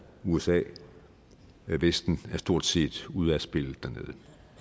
usa vesten er stort set ude af spillet dernede